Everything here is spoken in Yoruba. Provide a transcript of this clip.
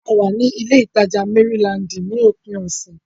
A wà ní ilé ìtajà Mérílaǹdì ní òpin ọ̀sẹ̀.